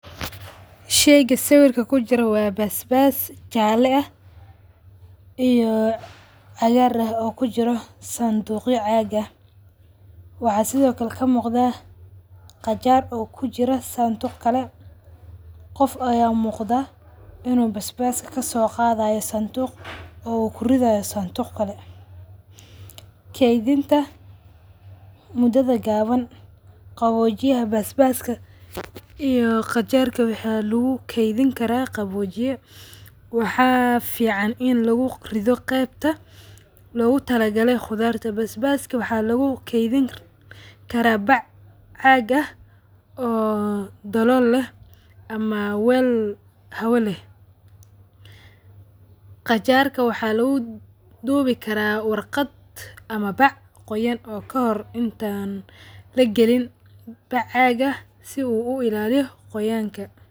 Shayga sawirka kujiro waa baasbas jala eeh iyo cagaar ah oo kujiro sanduqyo caag aah. waxa sidhokale kamuqda qajaar oo kujiro sanduq kale, qoof aya muqda ino baasbas kasogadhayo sandug oo kuridhayo sandug kale. Kaydhinta mudadha gaawan qaboojiyah baasbaska iyo qajaarka waxa lagu kedhini kara qaboojiye waxa ficaan in lagu ridho qeebta lagu talagalay qudharta baasbaska waxa lagu keedhani karaa baac caaq aah oo dalool leeh ama weel hawa leeh. Qajarka waxa lagu duubi karaa warqaad ama baac qooyana ama kahoor intan laqalin baac caq ah sidho uagliin qoyanka.